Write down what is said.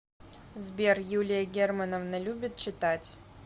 сбер юлия германовна любит читать